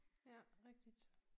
Ja rigtigt